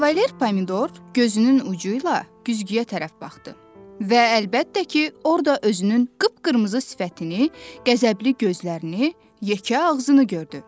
Kavalier Pomidor gözünün ucu ilə güzgüyə tərəf baxdı və əlbəttə ki, orada özünün qıp-qırmızı sifətini, qəzəbli gözlərini, yekə ağzını gördü.